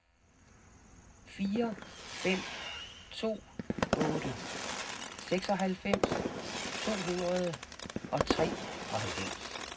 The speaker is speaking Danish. fire fem to otte seksoghalvfems to hundrede og treoghalvfems